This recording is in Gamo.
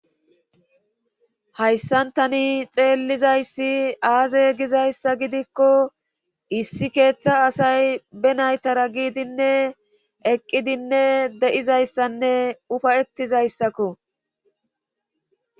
Hayssan tani xeellizayssi aaze gizayssa gidikko issi keeththa asay be naytara giidinne eqqidinne de'izayssanne ufayettizayssakko